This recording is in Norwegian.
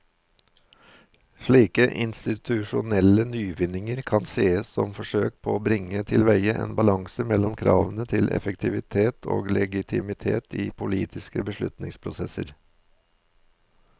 Slike institusjonelle nyvinninger kan sees som forsøk på å bringe tilveie en balanse mellom kravene til effektivitet og legitimitet i politiske beslutningsprosesser.